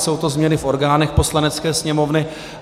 Jsou to změny v orgánech Poslanecké sněmovny.